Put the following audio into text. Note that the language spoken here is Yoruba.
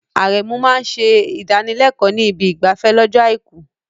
Aremeu máa ń ṣe ìdánilẹ́kọ̀ọ́ ní ibi ìgbafẹ́ lọ́jọ́ Àìkú.